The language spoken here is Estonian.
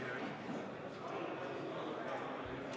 Nüüd on aeg anda üle eelnõud ja arupärimised.